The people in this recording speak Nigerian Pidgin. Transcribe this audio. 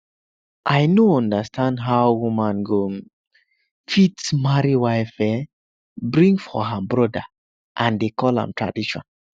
i no understand how woman go um fit marry wife um bring for her brother and dey call am tradition